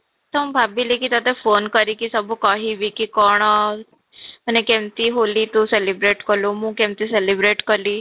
ତ ମୁଁ ଭାବିଲି କି ତୋତେ phone କରିକି ସବୁ କହିବି କି କ'ଣ ମାନେ ହୋଲି ତୁ କେମିତି celebrate କଲୁ ମୁଁ କେମିତି ହୋଲି celebrate କଲି